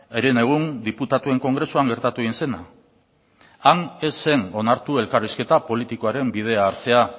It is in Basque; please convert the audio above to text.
herenegun diputatuen kongresuan gertatu egin zena han ez zen onartu elkarrizketa politikoaren bidea hartzea